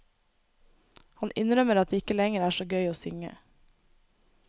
Han innrømmer at det ikke lenger er så gøy å synge.